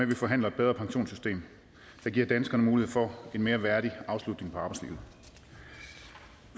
vi forhandler et bedre pensionssystem der giver danskerne mulighed for en mere værdig afslutning på arbejdslivet